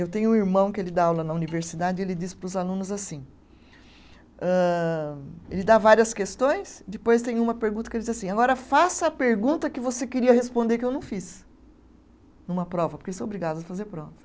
Eu tenho um irmão que ele dá aula na universidade e ele diz para os alunos assim, âh ele dá várias questões, depois tem uma pergunta que ele diz assim, agora faça a pergunta que você queria responder que eu não fiz, numa prova, porque são obrigados a fazer prova.